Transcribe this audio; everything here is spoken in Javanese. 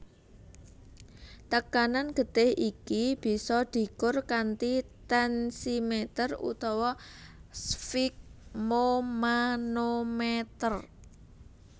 Tekanan getih iki bisa dikur kanthi tensimeter utawa sfigmomanometer